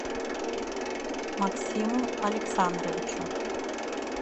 максиму александровичу